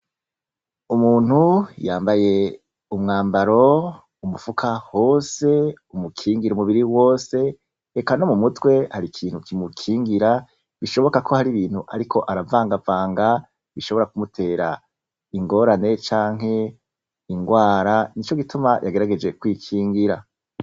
Umuntu yambaye umwambaro umufuka hose, umukingira umubiri wose eka no m'umutwe hari ikintu kimukingira, bishoboka ko hari ibintu ariko aravangavanga bishobora kumutera ingorane, canke ingwara nico gituma yagerageje kwikingira.